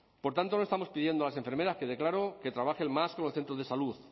por tanto no estamos pidiendo a las enfermeras quede claro que trabajen más que en los centros de salud